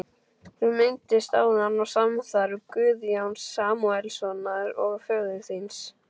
Þú minntist áðan á samstarf Guðjóns Samúelssonar og föður þíns.